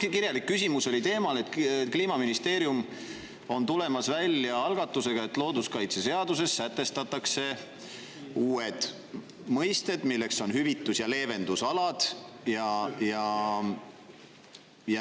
See kirjalik küsimus oli sel teemal, et Kliimaministeerium on tulemas välja algatusega, et looduskaitseseaduses sätestataks uute mõistetena hüvitus‑ ja leevendusalad.